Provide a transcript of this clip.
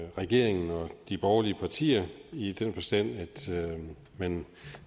regeringen og de borgerlige partier i den forstand at man